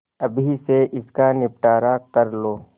अभी से इसका निपटारा कर लो